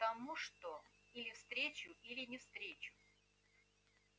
потому что или встречу или не встречу